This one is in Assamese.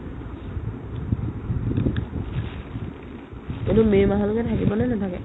এইটো may মাহলৈকে থাকিবনে নেথাকে ?